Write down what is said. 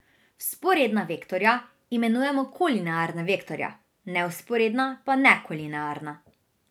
Vzporedna vektorja imenujemo kolinearna vektorja, nevzporedna pa nekolinearna.